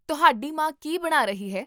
ਤੁਹਾਡੀ ਮਾਂ ਕੀ ਬਣਾ ਰਹੀ ਹੈ?